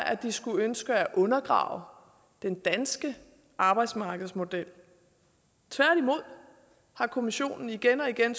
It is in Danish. at de skulle ønske at undergrave den danske arbejdsmarkedsmodel tværtimod har kommissionen igen og igen